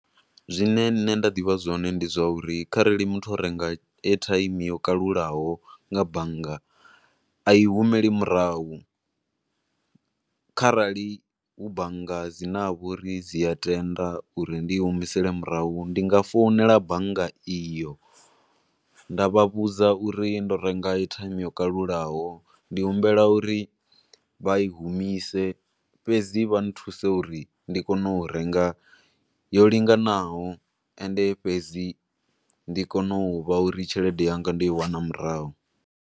Zwine nne nda ḓivha zwone ndi zwo uri kharali muthu o renga airtime yo kalulaho nga bannga a i humeli murahu, kharali hu bannga dzine ha vha uri dzi a tenda u ri ndi i humisele murahu, ndi nga founela bannga iyo nda vha vhudza u ri ndo renga airtime yo kalulaho, ndi humbela uri vha i humise, fhedzi vha nthuse uri ndi kone u renga yo linganaho, ende fhedzi ndi kone u vha uri tshelede yanga ndo i wana murahu.